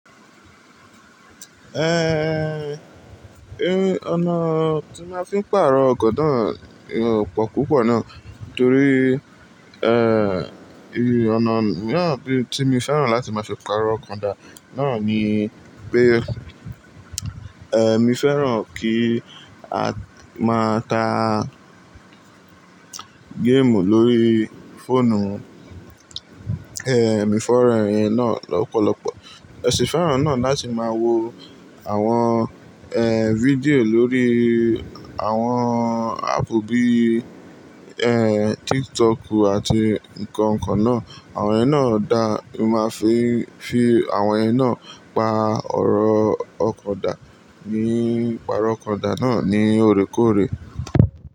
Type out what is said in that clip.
Eh, eh, ọ̀nà tí màá fi pàrọ̀ ọkọ̀ náà ò pò púpọ̀ ná. Nítorí, eh, ì, ọ̀nà náà bí, tí mi féràn láti máa fi pàrọ̀ ọkọ̀ dà náà ní pé, eh, mi féràn kí a máa ta game lórí fóònù. Eh, mi féràn ẹ̀yin náà lọ́pọ̀lọpọ̀. Mo sì féràn náà láti máa wo àwọn, eh, fídíò lórí àwọn app bíi, eh, TikTok àti nǹkan nǹkan náà. Àwọn ìyen náà dà, màá fi fi àwọn ẹ̀yin náà pa ọ̀rọ̀ ọkọ̀ dà ní, pàrọ̀ ọkọ̀ dán náà ní òrékòóré.